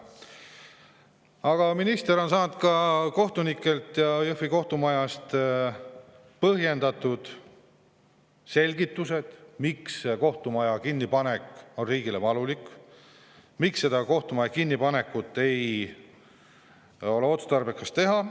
Aga minister on saanud ka kohtunikelt ja Jõhvi kohtumajast põhjendatud selgitused, miks kohtumaja kinnipanek on riigile valulik, miks seda kohtumaja kinnipanekut ei ole otstarbekas teha.